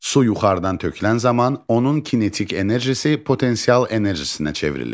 Su yuxarıdan tökülən zaman onun kinetik enerjisi potensial enerjisinə çevrilir.